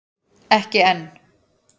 Ekki enn!